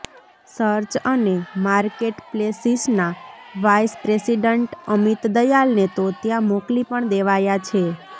search અને માર્કેટપ્લેસિસના vice president Amit દયાલને તો ત્યાં મોકલી પણ દેવાયા છે